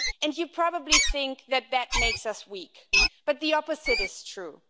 You probably think that makes us weak, but the opposite is true.